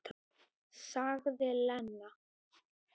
Sagði Lena.